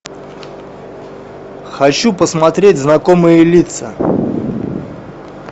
хочу посмотреть знакомые лица